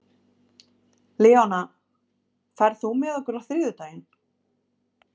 Leóna, ferð þú með okkur á þriðjudaginn?